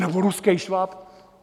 Anebo ruský šváb?